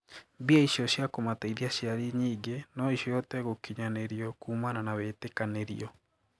Mbia icio cia kũmateithia aciari nyinge noo cihote gũkinyanirio kuumana na witikanirio.